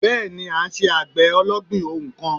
Bẹ́ẹ̀ni à n se àgbè ológbìn ohun kan